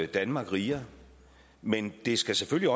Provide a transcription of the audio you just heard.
danmark rigere men det skal selvfølgelig